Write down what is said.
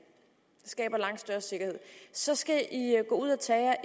skaber langt større sikkerhed så skal i gå ud at tage